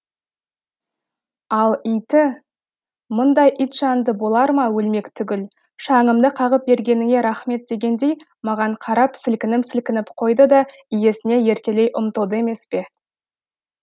ал иті мұндай итжанды болар ма өлмек түгіл шаңымды қағып бергеніңе рахмет дегендей маған қарап сілкініп сілкініп қойды да иесіне еркелей ұмтылды емес пе